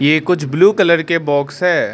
ये कुछ blue colour के बॉक्स है।